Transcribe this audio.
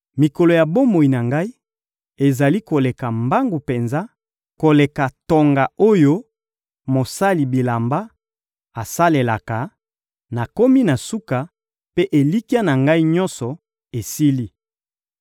Mikolo ya bomoi na ngai ezali koleka mbangu penza koleka tonga oyo mosali bilamba asalelaka; nakomi na suka, mpe elikya na ngai nyonso esili.